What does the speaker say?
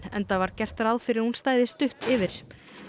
enda var gert ráð fyrir að hún stæði stutt yfir